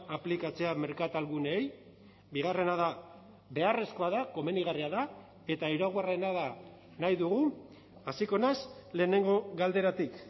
aplikatzea merkatalguneei bigarrena da beharrezkoa da komenigarria da eta hirugarrena da nahi dugu hasiko naiz lehenengo galderatik